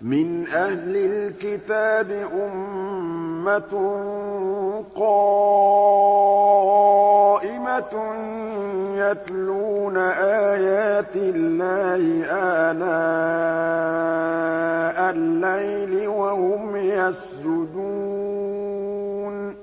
مِّنْ أَهْلِ الْكِتَابِ أُمَّةٌ قَائِمَةٌ يَتْلُونَ آيَاتِ اللَّهِ آنَاءَ اللَّيْلِ وَهُمْ يَسْجُدُونَ